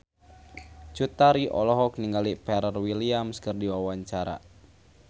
Cut Tari olohok ningali Pharrell Williams keur diwawancara